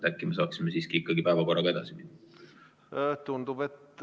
Äkki me saaksime siiski päevakorraga edasi minna?